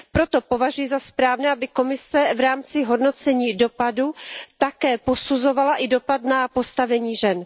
Proto považuji za správné, aby Komise v rámci hodnocení dopadu také posuzovala i dopad na postavení žen.